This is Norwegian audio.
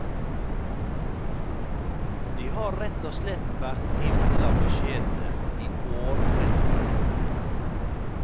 De har rett og slett vært himla beskjedne i årrekker.